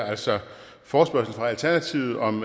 altså en forespørgsel fra alternativet om